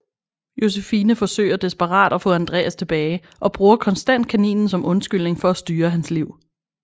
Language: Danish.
Josefine forsøger desperat at få Andreas tilbage og bruger konstant kaninen som undskyldning for at styre hans liv